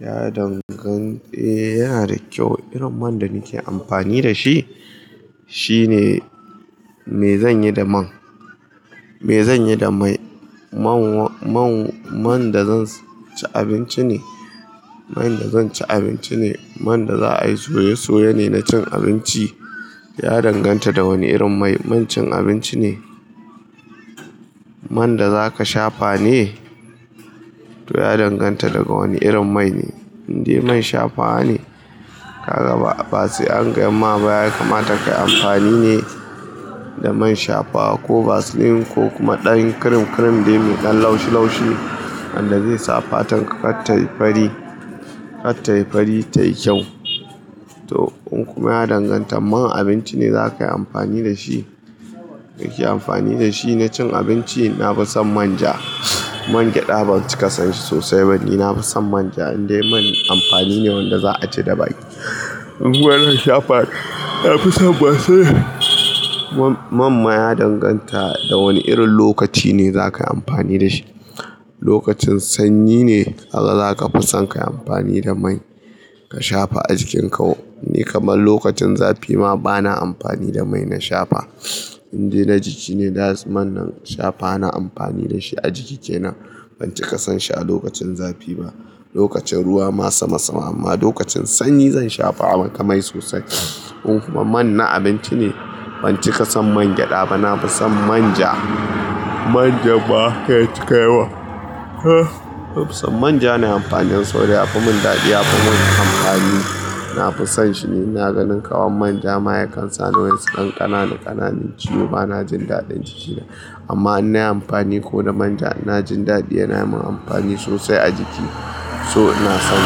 Ya dangan, eh yana da kyau. Irin man da nike amfani da shi shine, me zanyi da man? Me zanyi da mai, man, man, man da zan ci abinci ne, man da zan ci abinci ne, man da za ai soye-soye ne na cin abinci. Ya danganta da wanne irin mai, man cin abinci ne. Man da zaka shafa ne, to ya danganta daga wanne irin mai ne. Inde man shafawa ne ka ga ba, ba sai an gaya ma ba ya kamata kai amfani ne. Da man shafawa ko vasline ko kuma ɗan kirim-kirim dai mai ɗan laushi-laushi wanda zai sa fatar ka ta yi fari, ta yi fari tayi kyau. To in kuma ya danganta man abinci ne za kai amfani da shi, kake amfani da shi na cin abinci. Na fi son manja, man gyaɗa ban cika son shi sosai. Ni na fi son manja, indai man amfani ne wanda za a ci da baki. In kuma zan shafa, na fi son Vaseline. Man ma ya danganta da wane irin lokaci ne zakayi amfani da shi. Lokacin sanyi ne, kaga zaka fi son ka yi amfani da mai ka shafa a jikinka. Ni kamar lokacin zafi ma bana amfani da mai na shafa. Indai na jiki ne, da man nan shafa na amfani da shi a jiki kenan. Ban cika son shi a lokacin zafi ba, lokacin ruwa ma sama sama. Amma lokacin sanyi zan shafa maka mai sosai. In kuma man na abinci ne, ban cika son man gyada ba. Na fi son manja, manjan ma kar ya cika yawa. Na fi son manja na amfani saboda yafi mun dadi, yafi min amfani. Na fi son shi ne, ina ganin kaman manja ma yakan sani wasu ɗan ƙananaa ƙananan ciwo bana jin daɗin jiki na. Amma in nayi amfani ko da manja ina jin daɗi yana yimun amfani sosai a jiki. So ina son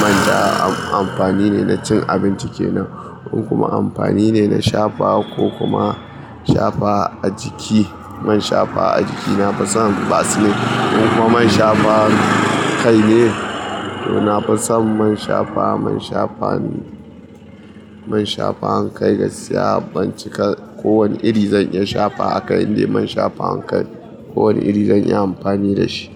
manja amfani ne na cin abinci kenan. In kuma amfani ne na shafa ko kuma shafa a jiki. Man shafawa a jiki na fi son vaseline. In kuma man shafawar kai ne, to nafi son man shafawa man shafawa man shafawar kaii gaskiya. Ban cika ko wani iri zan iya shafawa a kai indai man shafawar kai ne, ko wane iri zan iya amfani da shi.